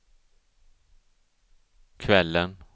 kvällen